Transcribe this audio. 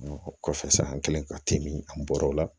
o kɔfɛ sa an kɛlen ka te min an bɔr'o la